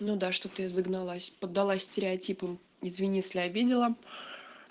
ну да что ты загналась поддалась стереотипом извини если обидела